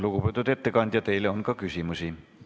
Lugupeetud ettekandja, teile on ka küsimusi.